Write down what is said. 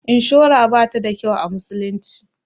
Inshura bata da kyau a musulunci.